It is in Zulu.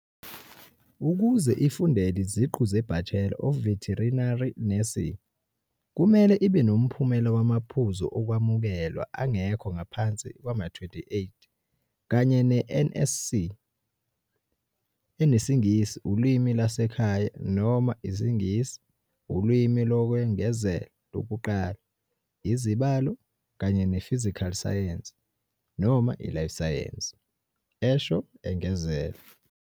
"Ukuze ifundele iziqu ze-Bachelor of Veterinary Nursing, kumele ibe noMphumela wamaPhuzu Okwamukelwa angekho ngaphansi kwama28 kanye ne-NSC eneSingisi Ulimi Lwasekhaya noma IsiNgisi Ulimi Lokwengezela Lokuqala, izibalo, kanye ne-physical science noma i-life sciences," esho engezela.